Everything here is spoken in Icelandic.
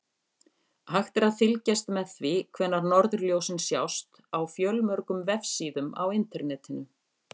Hægt er að fylgjast með því hvenær norðurljósin sjást á fjölmörgum vefsíðum á Internetinu.